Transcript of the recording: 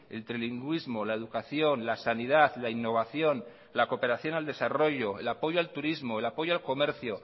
el trilingüismo la educación la sanidad la innovación la cooperación al desarrollo el apoyo al turismo el apoyo al comercio